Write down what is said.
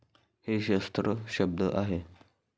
हे शस्त्र शब्द आहे.